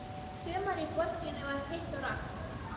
Sumarið í borginni var heitt og rakt.